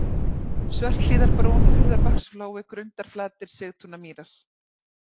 Svörthlíðarbrún, Hurðabaksflói, Grundarflatir, Sigtúnamýrar